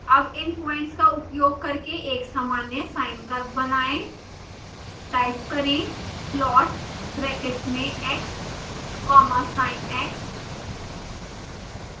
अब इन प्वाइंट्स का उपयोग करके एक सामान्य sine curve बनाएं